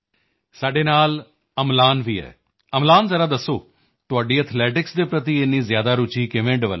ਸਾਡੇ ਨਾਲ ਅਮਲਾਨ ਵੀ ਹੈ ਅਮਲਾਨ ਜ਼ਰਾ ਦੱਸੋ ਤੁਹਾਡੀ ਐਥਲੈਟਿਸ ਦੇ ਪ੍ਰਤੀ ਇੰਨੀ ਜ਼ਿਆਦਾ ਰੁਚੀ ਕਿਵੇਂ ਡਿਵੈਲਪ ਹੋਈ